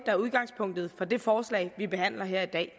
er udgangspunktet for det forslag vi behandler her i dag